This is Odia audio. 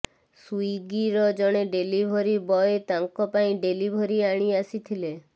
ସ୍ୱିଗିର ଜଣେ ଡେଲିଭରି ବୟ ତାଙ୍କ ପାଇଁ ଡେଲିଭରି ଆଣି ଆସିଥିଲେ